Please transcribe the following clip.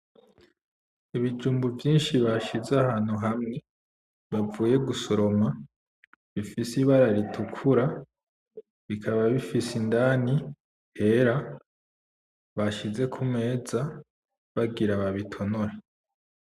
Ibijumbu vyinshi bashize ahantu hamwe bavuye gusoroma, bifise ibara ritukura bikaba bifise indani hera, bashize kumeza bagira babitonore.